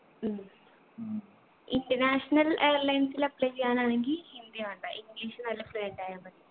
ഉം international ൽ airlines ൽ apply ചെയ്യാനാണെങ്കി ഹിന്ദി വേണ്ട english നല്ല fluent അയാ മതി